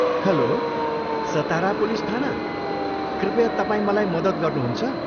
Hello, Satara police थाना, कृपया तपाईँ मलाई मद्दत गर्नुहुन्छ?